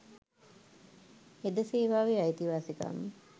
හෙද සේවාවේ අයිතිවාසිකම්